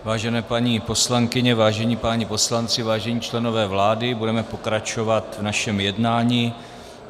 Vážené paní poslankyně, vážení páni poslanci, vážení členové vlády, budeme pokračovat v našem jednání.